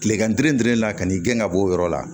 Tilegan kelen la ka n'i gɛn ka bɔ o yɔrɔ la